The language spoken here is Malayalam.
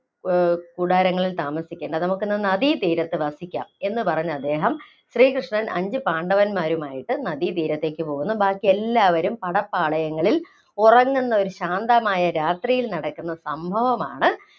ഏർ കൂടാരങ്ങളില്‍ താമസിക്കേണ്ട, നമുക്കിന്ന് നദീതീരത്ത് വസിക്കാം എന്ന് പറഞ്ഞ് അദ്ദേഹം ശ്രീകൃഷ്ണൻ അഞ്ച് പാണ്ഡവന്മാരുമായിട്ട് നദീതീരത്തേക്ക് പോകുന്നു, ബാക്കി എല്ലാവരും പടപ്പാളയങ്ങളില്‍, ഉറങ്ങുന്ന ഒരു ശാന്തമായ രാത്രിയില്‍ നടക്കുന്ന സംഭവമാണ്